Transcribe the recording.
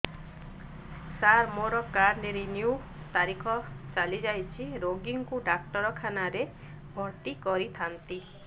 ସାର ମୋର card renew ତାରିଖ ଚାଲି ଯାଇଛି ରୋଗୀକୁ ଡାକ୍ତରଖାନା ରେ ଭର୍ତି କରିଥାନ୍ତି